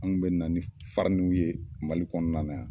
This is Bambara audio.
Anw kun bɛ na ni fariniw ye MALI kɔnɔna na yan.